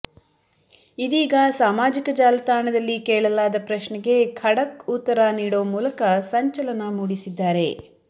ಇದೀಗ ಸಾಮಾಜಿಕ ಜಾಲತಾಣದಲ್ಲಿ ಕೇಳಲಾದ ಪ್ರಶ್ನೆಗೆ ಖಡಕ್ ಉತ್ತರ ನೀಡೋ ಮೂಲಕ ಸಂಚಲನ ಮೂಡಿಸಿದ್ದಾರೆ